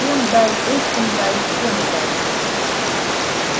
тем дай этим дай всем дай